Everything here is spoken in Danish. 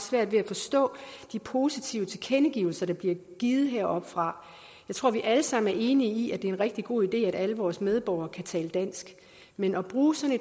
svært ved at forstå de positive tilkendegivelser der bliver givet heroppe fra jeg tror vi alle sammen er enige i at det er en rigtig god idé at alle vores medborgere kan tale dansk men at bruge sådan